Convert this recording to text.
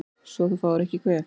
Svo þú fáir ekki kvef